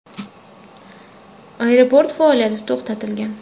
Aeroport faoliyati to‘xtatilgan.